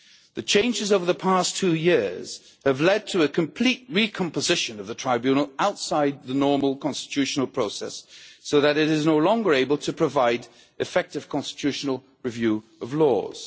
The changes over the past two years have led to a complete re-composition of the Tribunal outside the normal constitutional process so that it is no longer able to provide effective constitutional review of laws.